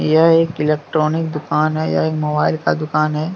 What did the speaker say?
यह एक इलेक्ट्रॉनिक दुकान है यह एक मोबाइल का दुकान है।